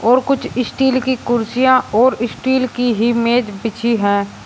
और कुछ स्टील की कुर्सियां और स्टील की ही मेज बिछी हैं।